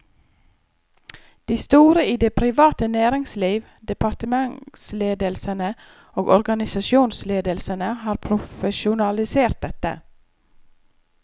De store i det private næringsliv, departementsledelsene og organisasjonsledelsene har profesjonalisert dette.